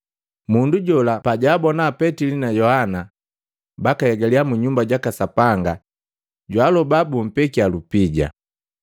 Mundu jola pajwaabona Petili na Yohana baka hegalya mu Nyumba jaka Sapanga jwaaloba bumpekya lupija.